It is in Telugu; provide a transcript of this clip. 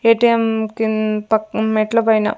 ఏ_టీ_ఎం కిం పక్క మెట్ల పైన --